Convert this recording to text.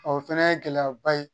o fɛnɛ ye gɛlɛyaba ye